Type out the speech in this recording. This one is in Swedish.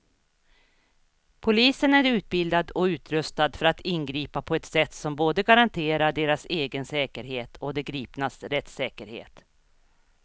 Polisen är utbildad och utrustad för att ingripa på ett sätt som både garanterar deras egen säkerhet och de gripnas rättssäkerhet.